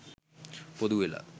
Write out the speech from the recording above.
පොදු වෙලා